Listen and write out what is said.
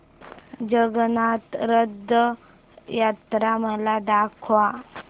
जगन्नाथ रथ यात्रा मला दाखवा